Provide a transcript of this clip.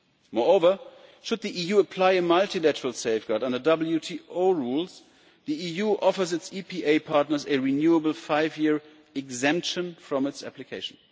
Moreover, should the EU apply a multilateral safeguard on the WTO rules, the EU offers its EPA partners a renewable five year exemption from its application.